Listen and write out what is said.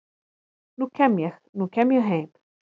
nú kem ég, nú kem ég heim